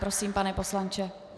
Prosím, pane poslanče.